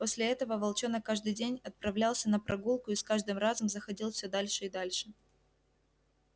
после этого волчонок каждый день отправлялся на прогулку и с каждым разом заходил всё дальше и дальше